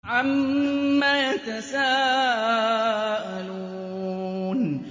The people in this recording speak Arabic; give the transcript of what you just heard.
عَمَّ يَتَسَاءَلُونَ